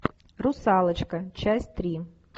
русалочка часть три